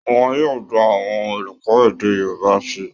Wọn yóò gba àwọn olùkọ́ èdè Yorùbá síi